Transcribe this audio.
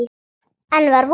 Enn var von!